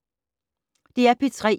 DR P3